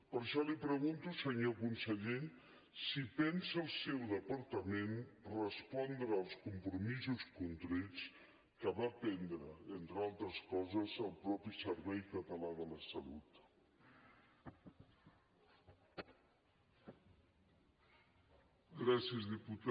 per això li pregunto senyor conseller si pensa el seu departament respondre als compromisos contrets que va prendre entre altres coses el mateix servei català de la salut